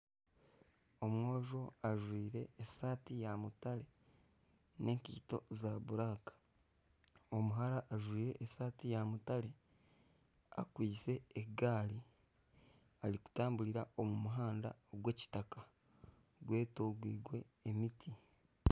Omwojo ajwire esati ya mutare n'enkaito za buraka . Omuhara ajwire esati ya mutare akwaitse egaari arikutamburira omu muhanda ogwa kitaka gwetoreirwe emiti.